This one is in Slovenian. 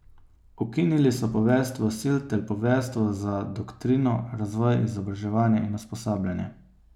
Ukinili so poveljstvo sil ter poveljstvo za doktrino, razvoj, izobraževanje in usposabljanje.